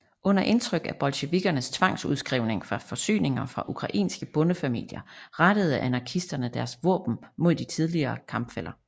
Under indtryk af bolsjevikkernes tvangsudskrivning af forsyninger fra ukrainske bondefamilier rettede anarkisterne deres våben mod de tidligere kampfæller